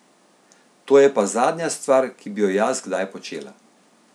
To je pa zadnja stvar, ki bi jo jaz kdaj počela.